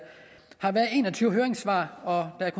har været en og tyve høringssvar og at